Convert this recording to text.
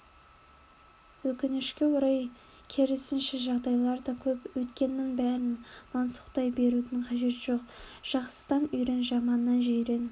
өкінішке орай керісінше жағдайлар да көп өткеннің бәрін мансұқтай берудің қажеті жоқ жақсыдан үйрен жаманнан жирен